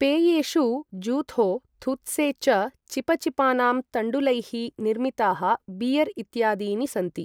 पेयेषु ज़ुथो, थुत्से च, चिपचिपानां तण्डुलैः निर्मिताः बियर् इत्यादीनि सन्ति ।